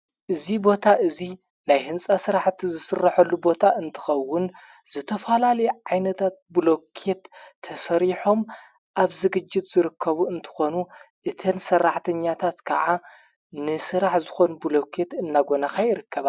እዙ ቦታ እዙይ ናይ ሕንፃ ሥራሕእቲ ዝሥረሖሉ ቦታ እንተኸውን ዘተፈላል ዓይነታት ብሎኬት ተሠሪሖም ኣብ ዝግጅት ዝርከቡ እንተኾኑ እተን ሠራሕተኛታት ከዓ ንሥራሕ ዝኾኑ ብሎከት እናጐናካይ ይርከበ።